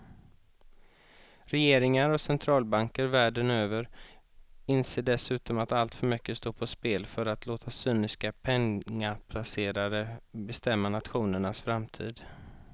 Regeringar och centralbanker världen över inser dessutom att alltför mycket står på spel för att låta cyniska pengaplacerare bestämma nationernas framtid.